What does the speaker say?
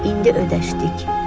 İndi ödəşdik.